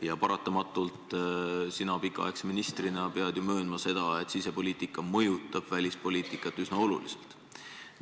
Ja paratamatult sina pikaaegse ministrina pead ju möönma, et sisepoliitika mõjutab välispoliitikat üsna oluliselt.